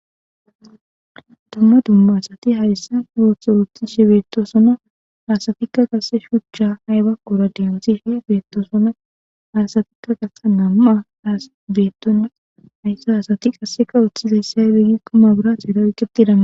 Duma duma asati haysan ootho oothishe betosona haysatika qase shucha aybakora dentjishe bftosonA istika.ha asatika qase nam'a haysa asatika othizay azee gikon maburatera oayketida miahako